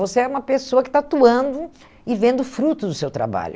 Você é uma pessoa que está atuando e vendo frutos do seu trabalho.